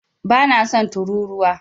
Bana son turūruwa.